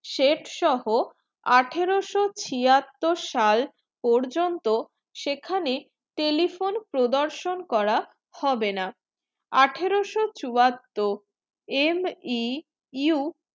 শেঠসহ আঠারোশো ছিয়াত্তর সাল পর্যন্ত সেখানে telephone প্রদর্শন করা হবে না আঠারোশো চুয়াত্তর e MEU